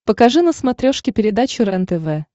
покажи на смотрешке передачу рентв